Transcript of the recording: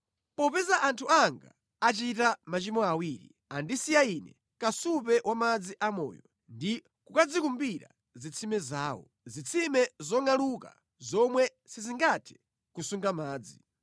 “Popeza anthu anga achita machimo awiri: Andisiya Ine kasupe wa madzi a moyo, ndi kukadzikumbira zitsime zawo, zitsime zongʼaluka, zomwe sizingathe kusunga madzi.